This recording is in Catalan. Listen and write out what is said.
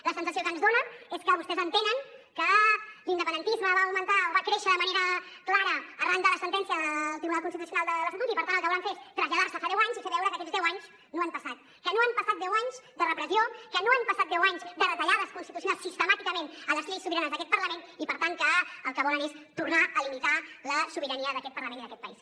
la sensació que ens dona és que vostès entenen que l’independentisme va augmentar o va créixer de manera clara arran de la sentència del tribunal constitucional de l’estatut i per tant el que volen fer és traslladar se a fa deu anys i fer veure que aquests deu anys no han passat que no han passat deu anys de repressió que no han passat deu anys de retallades constitucionals sistemàticament a les lleis sobiranes d’aquest parlament i per tant que el que volen és tornar a limitar la sobirania d’aquest parlament i d’aquest país